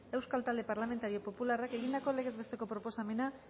euskal talde parlamentario popularrak egindako legez besteko proposamena